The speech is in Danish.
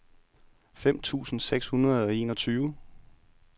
fem tusind seks hundrede og enogtyve